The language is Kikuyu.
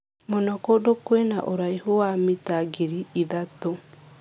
Mũno kũndũ kwĩna ũraihu wa mita ngiri ithatũ.